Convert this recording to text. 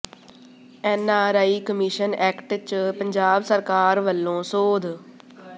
N R I commission act ਚ ਪੰਜਾਬ ਸਰਕਾਰ ਵਲੋਂ ਸੋਧ